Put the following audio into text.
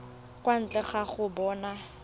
kwa ntle ga go bona